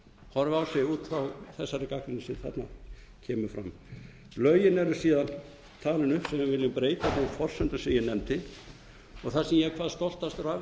út frá þessari gagnrýni sem þarna kemur fram lögin eru síðan talin upp sem við viljum breyta þeim forsendum sem ég nefndi og það sem ég er hvað stoltastur af